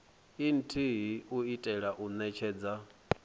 nthihi u itela u netshedza